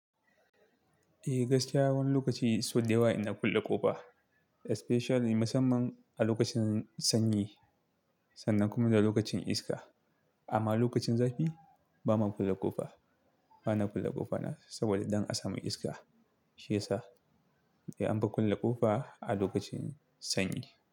Eh gaskiya wani lokaci sau dewa ina kulle ƙofa, especially musamman a lokacin sanyi sannan kuma da lokacin iska. Amma lokacin zafi ba ma kulle ƙofa, ba na kulle ƙofa na saboda dan a samu iska shi yasa. Eh an ka kulle ƙofa a lokacin sanyi.